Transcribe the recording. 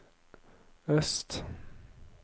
øst